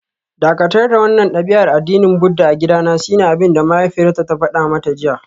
Dakatar da wannan dabi'ar addinin Buddah a gidana shine abinda mahaifiyarta ta fada mata jiya